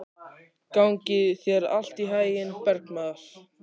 Gangi þér allt í haginn, Bergmar.